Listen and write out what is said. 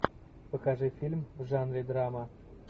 покажи фильм в жанре драма